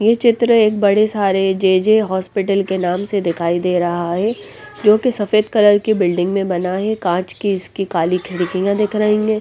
ये चित्र एक बड़े सारे जेजे हॉस्पिटल के नाम से दिखाई दे रहा है जो कि सफेद कलर की बिल्डिंग में बना है कांच की इसकी काली खिड़कियां दिख रही हैं।